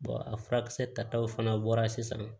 a furakisɛ tataw fana bɔra sisan